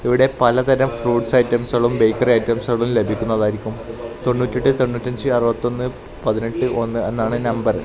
ഇവിടെ പലതരം ഫ്രൂട്ട്സ് ഐറ്റംസുകളും ബേക്കറി ഐറ്റംസുകളും ലഭിക്കുന്നതാരിക്കും തൊണ്ണൂറ്റി ഏട്ട് തൊണ്ണൂറ്റി അഞ്ച് അറുപത്തൊന്ന് പതിനെട്ട് ഒന്ന് എന്നാണ് നമ്പറ് .